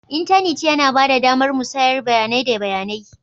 Intanit yana ba da damar musayar bayanai da bayanai.